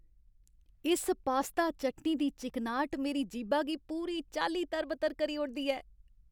इस पास्ता चटनी दी चिकनाह्ट मेरी जीह्बा गी पूरी चाल्ली तर बतर करी ओड़दी ऐ।